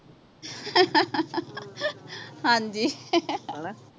ਹਾਂਜੀ ਹਣਾ